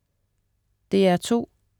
DR2: